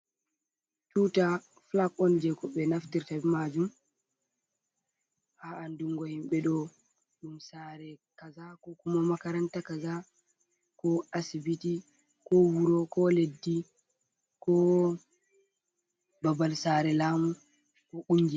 Tuta flag on jei ko be naftirta be majum haa andungo himɓe ɗo ɗum sare kaza, ko kuma makaranta kaza, ko asibiti, ko wuro, ko leddi, ko babal sare lamu, ko kungiya.